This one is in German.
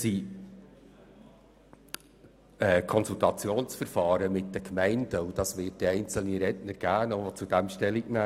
Zum Konsultationsverfahren mit den Gemeinden werden einzelne Redner noch Stellung nehmen.